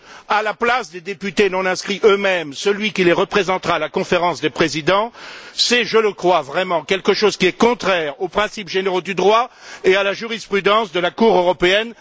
à la place des députés non inscrits eux mêmes, celui qui les représentera à la Conférence des présidents, c'est, je le crois vraiment, quelque chose qui est contraire aux principes généraux du droit et à la jurisprudence de la Cour européenne.